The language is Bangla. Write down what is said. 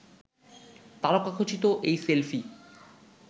তারকাখচিত এই সেলফি